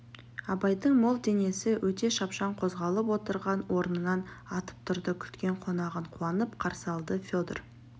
абайдың мол денесі өте шапшаң қозғалып отырған орнынан атып тұрды күткен қонағын қуанып қарсы алды федор